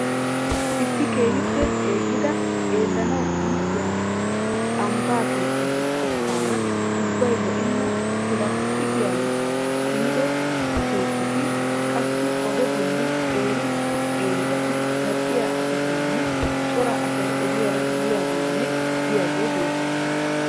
Issi keehiippe ceegida xeelanawu iittiya ambba, keettatu qottaara ubbay lo'enna, plastiiqiyaan kammido keettati, qassi oge bolli qeeri qeeribata zal'iya asatanne cora asy ogiyaara yiyaagaanne biyagee beettees.